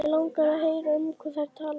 Mig langar að heyra um hvað þær tala.